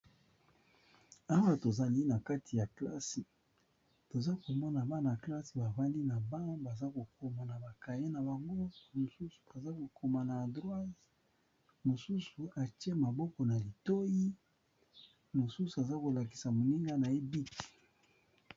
Awa tozali na kati ya kelasi, toza komona bana ya kelasi bavandi, bazali kotanga